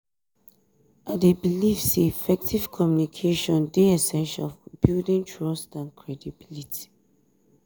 i dey believe say effective communication dey essential for building trust and credibility.